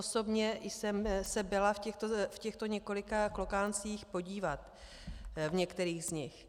Osobně jsem se byla v těchto několika klokáncích podívat, v některých z nich.